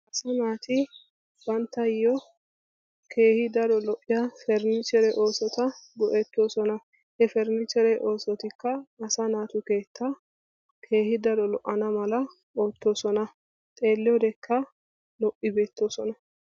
So naati banttayo keehi daro lo'iya Farnniichere oosota go'ettosona. He Farnniichere oosotikka asa naatu keetta keehi daro lo'ana mala oottosona. xeeliyodeka lo'i beetosona.